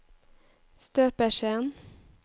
støpeskjeen